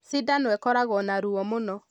Cindano ĩkoragwo na ruo muno